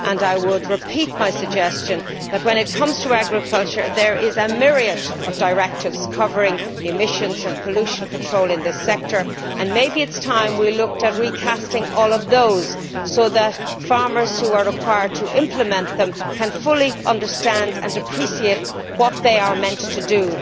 I repeat my suggestion that, when it comes to agriculture, there is a myriad of directives covering emissions and pollution control in this sector, and so maybe it is time we looked at recasting all of those so that farmers who are required to implement them can fully understand and appreciate what they are meant to do.